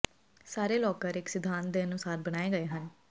ਸਾਰੇ ਲੌਕਰ ਇਕ ਸਿਧਾਂਤ ਦੇ ਅਨੁਸਾਰ ਬਣਾਏ ਗਏ ਹਨ